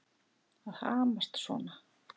Að hamast svona.